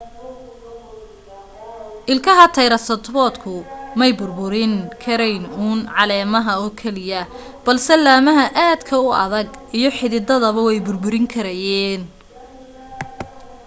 ilkaha taraysaratoobku may burburin karayn uun caleemaha oo keliya balse laamaha aadka u adaga iyo xiddidaba way burburin karayeen